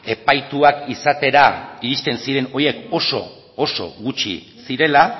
epaituak izatera irizten ziren horiek oso oso gutxi zirela